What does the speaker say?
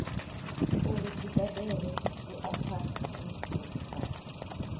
uri dzi badela dziakhaunthu dza